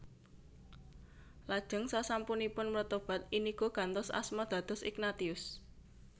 Lajeng sasampunipun mretobat Inigo gantos asma dados Ignatius